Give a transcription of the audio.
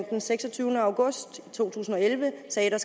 den seksogtyvende august to tusind og elleve sagde at der